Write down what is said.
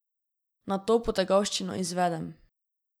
Nato potegavščino izvedem.